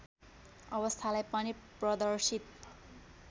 अवस्थालाई पनि प्रदर्शित